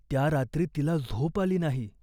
त्या रात्री तिला झोप आली नाही.